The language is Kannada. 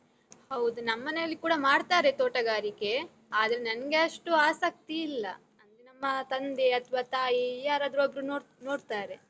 ಹೌದು, ನಮ್ಮನೆಯಲ್ಲಿ ಕೂಡ ಮಾಡ್ತಾರೆ ತೋಟಗಾರಿಕೆ, ಆದರೆ ನನ್ಗೆ ಅಷ್ಟು ಆಸಕ್ತಿ ಇಲ್ಲ, ಅಂದ್ರೆ ನಮ್ಮ ತಂದೆ ಅಥ್ವಾ ತಾಯಿ ಯಾರಾದ್ರೂ ಒಬ್ರು ನೋಡ್ ನೋಡ್ತಾರೆ.